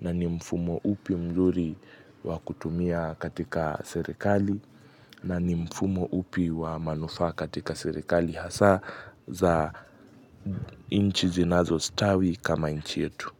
na ni mfumo upi mzuri wa kutumia katika serikali na ni mfumo upi wa manufaa katika serikali hasa za inchi zinazostawi kama inchi yetu.